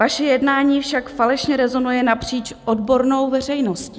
Vaše jednání však falešně rezonuje napříč odbornou veřejností.